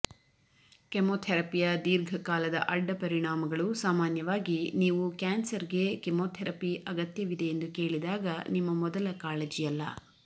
ಕೆಮೊಥೆರಪಿಯ ದೀರ್ಘಕಾಲದ ಅಡ್ಡಪರಿಣಾಮಗಳು ಸಾಮಾನ್ಯವಾಗಿ ನೀವು ಕ್ಯಾನ್ಸರ್ಗೆ ಕಿಮೊತೆರಪಿ ಅಗತ್ಯವಿದೆಯೆಂದು ಕೇಳಿದಾಗ ನಿಮ್ಮ ಮೊದಲ ಕಾಳಜಿಯಲ್ಲ